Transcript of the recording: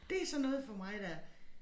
Det sådan noget for mig der